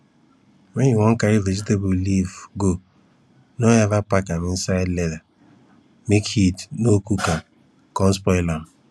wen you wan carry vegetable leaf go no ever pack am inside leather make heat no cook am con spoil am